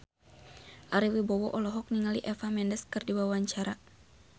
Ari Wibowo olohok ningali Eva Mendes keur diwawancara